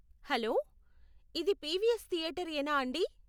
Hello, ఇది PVS theatre యేనా అండి?